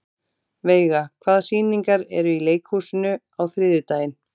Veiga, hvaða sýningar eru í leikhúsinu á þriðjudaginn?